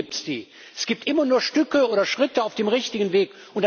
Nie gibt es die, es gibt immer nur Stücke oder Schritte auf dem richtigen Weg.